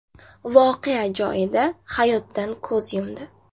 voqea joyida hayotdan ko‘z yumdi.